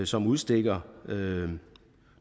som udstikker